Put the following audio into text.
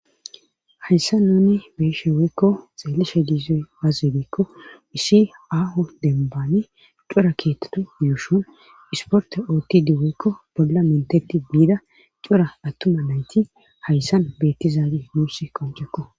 hayssa nuuni beeshe weykko xeellishe diizey azebeekko issi aaho denbaani cora keettetu yuushun isporte oottidi weykko babda mentetti biida cora attuma nayti hayssan beettizaage nuuss qoncekko